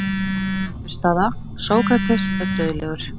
Niðurstaða: Sókrates er dauðlegur.